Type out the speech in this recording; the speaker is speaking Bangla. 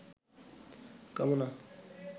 কামনা